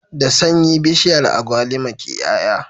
Da sanyi bishiyar agwalima ke y'ay'a